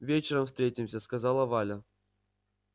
вечером встретимся сказала валя